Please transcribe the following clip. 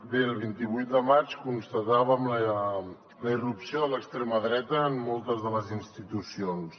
bé el vint vuit de maig constatàvem la irrupció de l’extrema dreta en moltes de les institucions